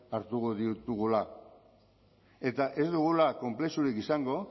hartuko ditugula eta ez dugula konplexurik izango